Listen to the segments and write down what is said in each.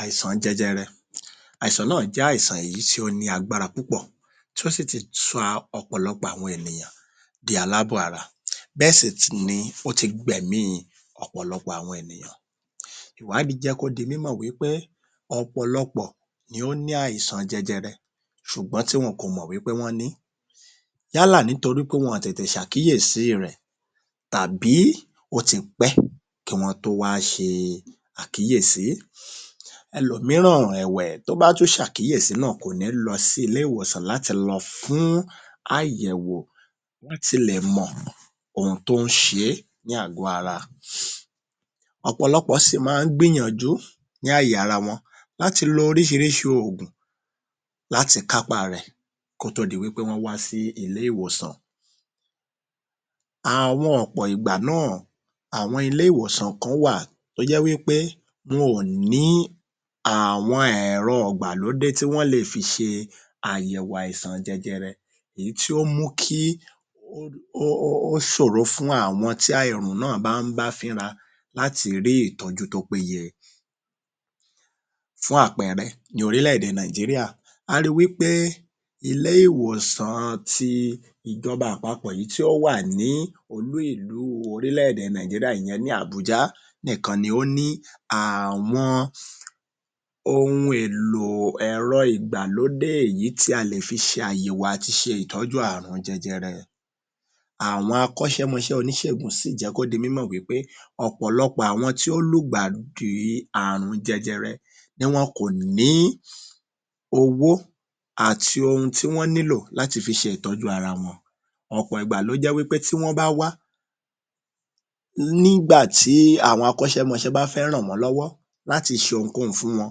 Àìsàn jẹjẹrẹ..àìsàn náà jẹ́ àìsàn èyí tí ó ní agbára púpọ̀ tí ó sì ti sọ ọ̀pọ̀lọpọ̀ àwọn ènìyàn ti alábọ̀ ara bẹ́ẹ̀ sì tún ni ó ti gbẹ̀mí ọ̀pọ̀lọpọ̀ àwọn ènìyàn. Ìwádìí jẹ́ kó di mímọ̀ wí pé ọ̀pọ̀lọpọ ni ó ní àìsàn jẹjẹrẹ ṣùgbọ́n tí wọn kò mọ̀ pé wí pé wọ́n ní yálà nítorí pe wọn tètè ṣàkíyèsí í rẹ̀ tàbí ó ti pẹ́ kí wọ́n tó wá ṣe àkíyesí. Ẹlòmíràn ẹ̀wẹ̀ tó bá tún ṣàkíyèsí nà kò tún ní lọ sí ilé ìwòsàn láti lọ fún àyẹ̀wò láti lè mọ̀ ohun tó ń ṣe é ní àgó ara. Ọ̀pọ̀lọpọ̀ sì ma ń gbìyànjú ní àyè ara wọn láti lo oríṣiríṣi òògùn láti kápá a rẹ̀ kó tó di pé wọ́n wá sí ilé ìwòsàn. Àwọn ọ̀pọ̀ ìgbàmíràn àwọn ilé ìwòsàn kán wà tó jẹ́ wí pé wọn ò ní àwọn ẹ̀rọ ìgbàlódé tí wón lè fi ṣe àyẹ̀wo àìsàn jẹjẹrẹ èyí tí ó mú kí ó ṣòro fún àwọn tí àìsàn náà ń bá fínra láti rí ìtọ́jú tó péye, fún àpẹẹrẹ: ní orílẹ̀ èdè Nàìjíríríà a ri wí pé ilé ìwòsàn an ti ìjọba àpapọ̀ èyí tí ó wà ni olú ìlú orílẹ̀ èdè Nàìjíríà ìyẹn ní Àbújá nìkan ni ó ní àwọn ohun èlò ẹ̀rọ ìgbàlódé èyí tí a lè fi ṣe àyẹ̀wò àti ṣe ìtọ́jú àrùn jẹjẹrẹ. Àwọn akọ́ṣẹmọṣẹ́ oníṣègùn sì jẹ́ kó di mímọ̀ wí pé ọ̀pọ̀lọpọ̀ àwọn tí ó lùgbàdì àrùn jẹjẹrẹ ni wọn kò ní owó àti ohun tí wọ́n nílò láti fi ṣe ìtọ́jú ara wọn. Ọ̀pọ̀ ìgbà ló jẹ́ pé tí wọ́n bá wá nígbà tí àwọn akọ́ṣẹmọṣẹ́ bá fẹ́ ràn wọ́n lọ́wọ́ láti ṣe ohunkóhun fún wọn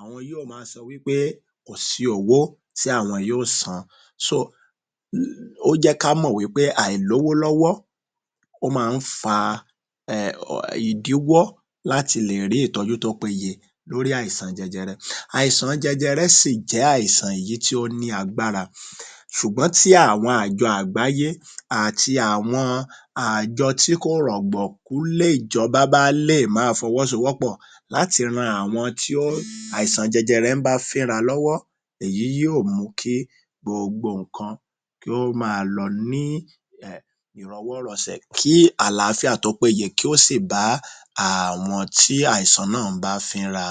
àwọn yóò ma sọ wí pé kò sí owó tí àwọn yóò san. So, ó jẹ́ ká mò wí pé àìlówó lọ́wọ́ ó ma ń fa ìdíwọ́ láti lè rí ìtọ́jú tó péye lórí àìsàn jẹjẹrẹ. Àìsàn jẹjẹrẹ sì jé àìsàn èyí tí ó ní agbára ṣùgbọ́n tí àwọn àjọ àgbáyé àti àwọn àjọ tí kò rọ̀gbọ̀kú lè jọba bá lè fọwọ́ sowó pọ̀ láti ran àwọn tí àìsàn jẹjẹrẹ ń bá fínra lọ́wọ́ èyí yóò mu kí gbogbo ǹkan kó ma lọ ní ìrọwọ́-rọsẹ̀ kí àláfíà tó péye kí ó sì bá àwọn tí àìsàn náà ń bá fínra.